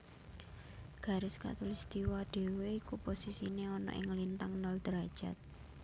Garis Katulistiwa dhewe iku posisine ana ing lintang nol derajat